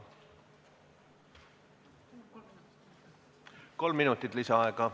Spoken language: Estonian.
Kolm minutit lisaaega.